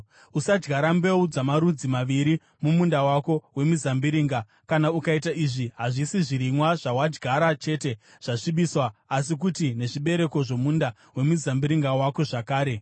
Usadyara mbeu dzamarudzi maviri mumunda wako wemizambiringa; kana ukaita izvi hazvisi zvirimwa zvawadyara chete zvasvibiswa asi kuti nezvibereko zvomunda wemizambiringa wako zvakare.